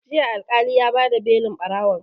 Jiya Alƙali ya ba da belin ɓarawon